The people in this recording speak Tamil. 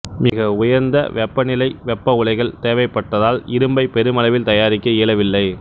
மிக உயர்ந்த வெப்பநிலை வெப்ப உலைகள் தேவைப்பட்டதால் இரும்பை பெருமளவில் தயாரிக்க இயலவில்லை